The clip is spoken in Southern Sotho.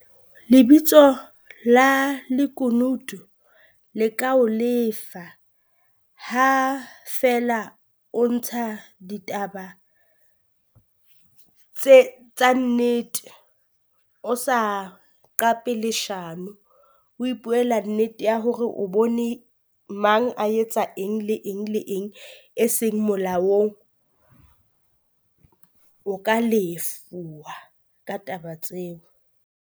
Lebitso la lekunutu le ka ho lefa ha feela o ntsha ditaba tse tsa nnete, o sa qape leshano o e ipuela nnete ya hore o bone mang a etsa eng le eng le eng e seng molaong, o ka lefuwa ka taba tseo.